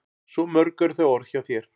Svo mörg eru þau orð hjá þér.